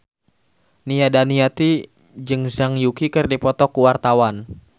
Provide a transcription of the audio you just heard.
Nia Daniati jeung Zhang Yuqi keur dipoto ku wartawan